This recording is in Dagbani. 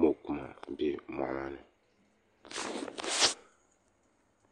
mokuma bɛ moɣu maani